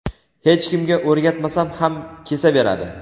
hech kimga o‘rgatmasam ham kesaveradi.